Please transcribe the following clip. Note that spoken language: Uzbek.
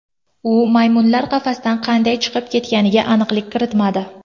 U maymunlar qafasdan qanday chiqib ketganiga aniqlik kiritmadi.